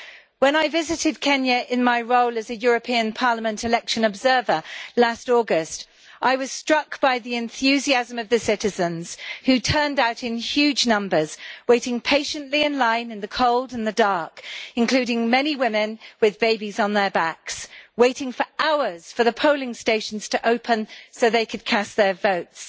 When I visited Kenya in my role as a European Parliament election observer last August, I was struck by the enthusiasm of the citizens who turned out in huge numbers, waiting patiently in line in the cold and in the dark, including many women with babies on their backs, waiting for hours for the polling stations to open so that they could cast their votes.